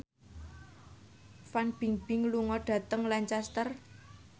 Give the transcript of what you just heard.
Fan Bingbing lunga dhateng Lancaster